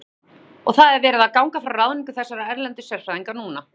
Þorbjörn: Og það er verið að ganga frá ráðningu þessara erlendu sérfræðinga núna?